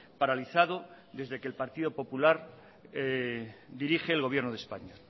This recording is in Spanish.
paralizado desde que el partido popular dirige el gobierno de españa